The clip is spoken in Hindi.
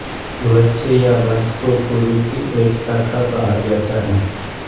वत्स या वंश को कुरु की एक शाखा कहा जाता है